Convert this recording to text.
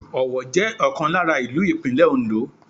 Owo jẹ́ ọ̀kan lára ìlú Ìpínlẹ̀ Òndó.